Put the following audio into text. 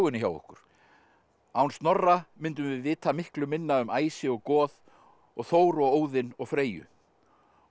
hjá okkur án Snorra myndum við vita miklu minna um æsi og goð og Þór og Óðin og Freyju og